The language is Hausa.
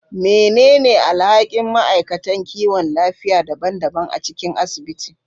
Menene alhakin ma'aikatan kiwon lafiya daban-daban a cikin asibiti?